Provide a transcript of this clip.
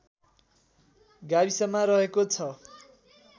गाविसमा रहेको छ